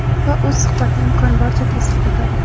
Va u suhbatni imkon boricha tez tugatadi.